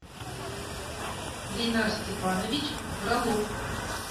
линар степанович фролов